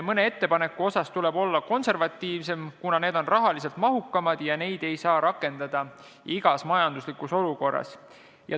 Mõne ettepaneku suhtes tuleb olla konservatiivsem, kuna need on rahaliselt mahukamad ja neid ei saa rakendada igas majanduslikus olukorras.